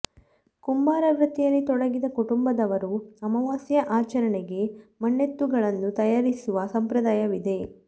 ಕುಂಬಾರ ವತ್ತಿಯಲ್ಲಿ ತೊಡಗಿದ ಕುಟುಂಬದವರು ಅಮಾವಾಸ್ಯೆ ಆಚರಣೆಗೆ ಮಣ್ಣೆತ್ತುಗಳನ್ನು ತಯಾರಿಸುವ ಸಂಪ್ರದಾಯವಿದೆ